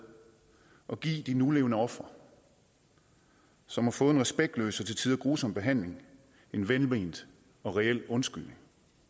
at give de nulevende ofre som har fået en respektløs og til tider grusom behandling en velment og reel undskyldning